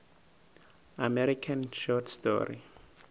american short story